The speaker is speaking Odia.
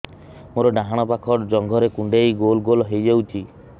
ମୋର ଡାହାଣ ପାଖ ଜଙ୍ଘରେ କୁଣ୍ଡେଇ ଗୋଲ ଗୋଲ ହେଇଯାଉଛି